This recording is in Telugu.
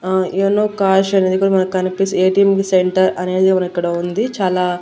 ఆ యోనో కాష్ అనేది ఇక్కడ మనకి కనిపిస్ ఏ_టీ_ఎం సెంటర్ అనేది మనకు ఇక్కడ ఉంది చాలా.